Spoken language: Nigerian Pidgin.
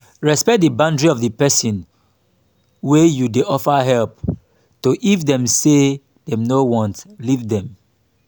respect di boundry of di perosn wey you dey offer help to if dem say dem no want leave them